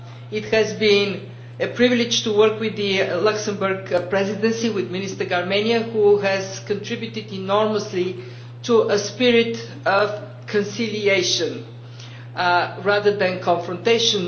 It has been a privilege to work with the Luxembourg Presidency, with Minister Gramegna, who has contributed enormously to a spirit of conciliation rather than confrontation.